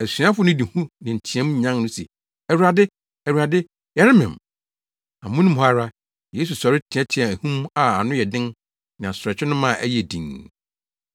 Asuafo no de hu ne nteɛteɛmu nyan no se, “Awurade, Awurade, yɛremem!” Amono mu hɔ ara, Yesu sɔre teɛteɛɛ ahum a ano yɛ den ne asorɔkye no ma ɛyɛɛ dinn.